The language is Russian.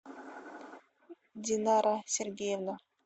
динара сергеевна